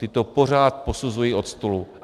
Ty to pořád posuzují od stolu.